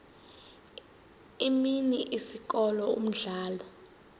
imini isikolo umdlalo